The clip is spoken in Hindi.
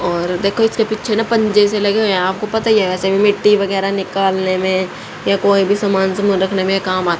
और देखो इसके पीछे ना पंजे जैसे लगे हुए है आपको पता ही ऐसे में मिट्टी वगैरा निकालने में या कोई भी सामान से मदद में काम आ --